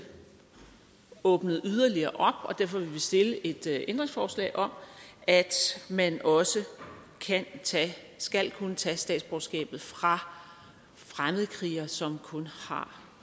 åbnet yderligere og derfor vil vi stille et ændringsforslag om at man også skal kunne tage statsborgerskabet fra fremmedkrigere som kun har